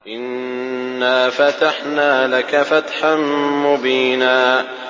إِنَّا فَتَحْنَا لَكَ فَتْحًا مُّبِينًا